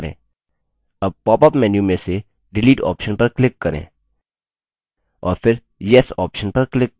अब popअप menu में से delete option पर click करें और फिर yes option पर click करें